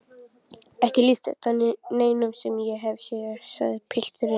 Ekki líkist þetta neinu sem ég hef séð, sagði pilturinn.